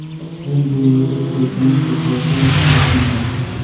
Men bu yerda prezident, futbolchi va murabbiyman!